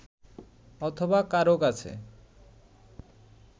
অথবা কারও কাছে